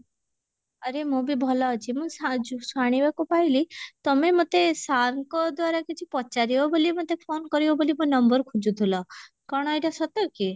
ଆରେ ମୁଁ ବି ଭଲ ଅଛି ମୁ ଯୁ ଶୁଣିବାକୁ ପାଇଲି ତମେ ମୋତେ sir ଙ୍କ ଦ୍ଵାରା କିଛି ପଚାରିବ ବୋଲି ମୋତେ phone କରିବ ବୋଲି ମୋ number ଖୋଜୁଥିଲ କଣ ଏଇଟା ସତ କି?